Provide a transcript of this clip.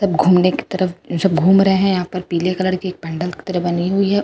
सब घूमने की तरफ सब घूम रहे हैं यहां पर पीले कलर की पेंडल की तरफ बनी हुई है।